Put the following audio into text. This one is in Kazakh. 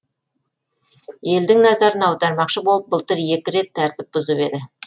елдің назарын аудармақшы болып былтыр екі рет тәртіп бұзып еді